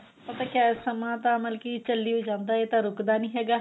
ਪਤਾ ਕਿਆ ਏ ਸਮਾਂ ਤਾਂ ਮਤਲਬ ਕਿ ਚੱਲੀ ਓ ਜਾਂਦਾ ਇਹ ਤਾਂ ਰੁਕਦਾ ਨੀ ਹੈਗਾ